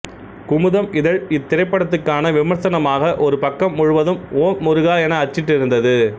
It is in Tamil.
குமுதம் இதழ் இத்திரைப்படத்துக்கான விமர்சனமாக ஒரு பக்கம் முழுவதும் ஓம் முருகா என அச்சிட்டிருந்தது